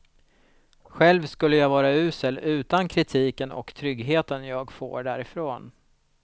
Själv skulle jag vara usel utan kritiken och tryggheten jag får därifrån.